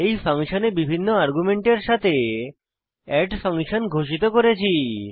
এই ফাংশনে বিভিন্ন আর্গুমেন্টের সাথে এড ফাংশন ঘোষিত করেছি